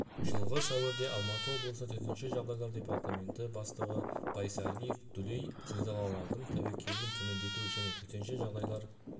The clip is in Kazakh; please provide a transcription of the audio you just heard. жылғы сәуірде алматы облысы төтенше жағдайлар департаменті бастығы байсариев дүлей зілзалалардың тәуекелін төмендету және төтенше жағдайлар